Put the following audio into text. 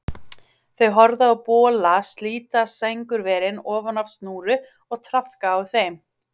Þau horfðu á bola slíta sængurverin ofan af snúru og traðka á þeim.